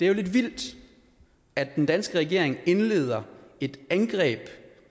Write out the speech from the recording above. er lidt vildt at den danske regering indleder et angreb